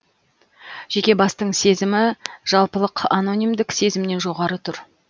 жеке бастың сезімі жалпылық анонимдік сезімнен жоғары тұр